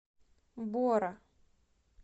бора